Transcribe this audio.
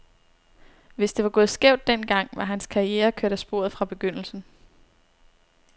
Hvis det var gået skævt den gang, var hans karriere kørt af sporet fra begyndelsen.